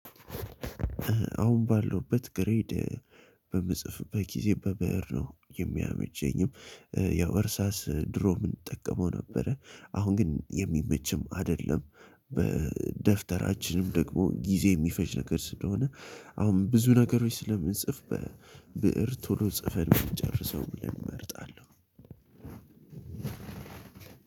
አሁን ባለውበት ግሬድ በምጽፍበት ጊዜ በብር ነው የሚያመቸኝም። ያው እርሳስ ድሮ ምንጠቀመው ነበረ አሁን ግን የሚመችም አይደለም። በደፍተራችንም ደግሞ ጊዜ የሚፈጅ ነገር ስለሆነ አሁን ብዙ ነገሮች ስለምንጽፍ በብእር ቶሎ ጽፈን ምንጨርሰውን ብለን እመርጣለሁ።